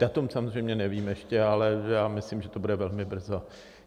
Datum samozřejmě nevím ještě, ale já myslím, že to bude velmi brzo.